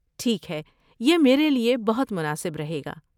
ٹھیک ہے، یہ میرے لیے بہت مناسب رہے گا۔